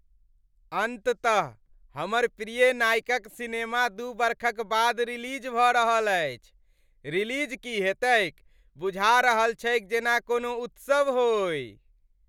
अंततः , हमर प्रिय नायकक सिनेमा दू बरखक बाद रिलीज भऽ रहल अछि, रिलीज की हेतैक, बुझा रहल छैक जेना कोनो उत्सव होई ।